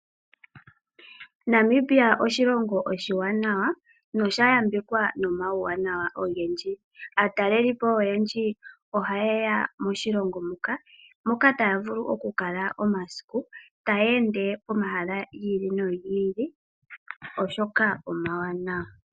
Namibia oshilongo oshiwanawa nosha yambekwa nomauwanawa ogendji. Aatalelipo oyendji ohaye ya moshilongo muka moka taya vulu okukala omasiku taya ende pomahala gi ili nogi ili, oshoka omawanawa.